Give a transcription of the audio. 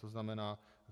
To znamená.